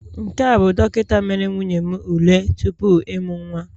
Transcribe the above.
Nke a bụ dọkịta mere nwunye m ule tupu ịmụ nwa